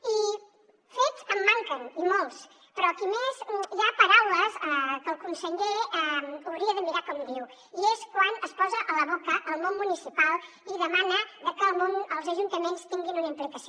i de fets en manquen i molts però aquí a més hi ha paraules que el conseller hauria de mirar com diu i és quan es posa a la boca el món municipal i demana que els ajuntaments tinguin una implicació